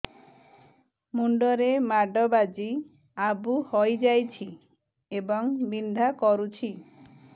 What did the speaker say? ମୁଣ୍ଡ ରେ ମାଡ ବାଜି ଆବୁ ହଇଯାଇଛି ଏବଂ ବିନ୍ଧା କରୁଛି